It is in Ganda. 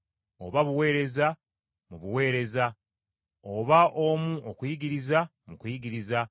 oba buweereza, mu buweereza, oba omu okuyigiriza, mu kuyigiriza;